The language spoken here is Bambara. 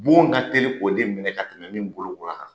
Bon ka teli k'o de minɛ ka tɛmɛ min bolo kola kan.